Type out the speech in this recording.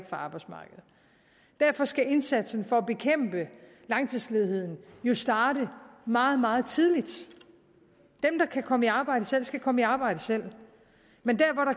fra arbejdsmarkedet derfor skal indsatsen for at bekæmpe langtidsledigheden jo starte meget meget tidligt dem der kan komme i arbejde selv skal komme i arbejde selv men der